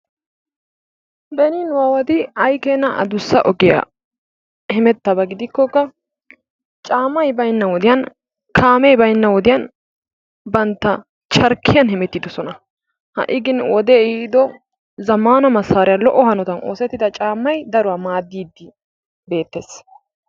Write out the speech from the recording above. Beni nu aawati ay keena adussa ogiya hemettaba gidikkokka caammay baynna wodiyan, kaamee baynna wodiyan bantta charkkiyan hemettidosona. Ha"i gin wodee ehiido zammaana massaariya lo'o hanotan oosettida caammay daruwa maaddiiddi beettees.